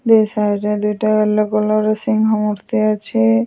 ଦି side ରେ ଦୁଇଟା yellow colour ର ସିଂହ ମୁର୍ତ୍ତି ଅଛି।